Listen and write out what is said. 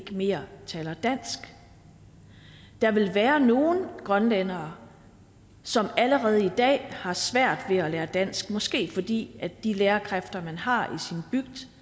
ikke mere taler dansk der vil være nogle grønlændere som allerede i dag har svært ved at lære dansk måske fordi de lærerkræfter man har